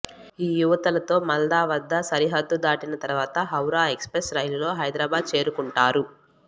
ఆ యువతలతో మాల్దా వద్ద సరిహద్దు దాటిన తర్వాత హౌరా ఎక్స్ప్రెస్ రైలులో హైదరాబాద్ చేరుకుంటారు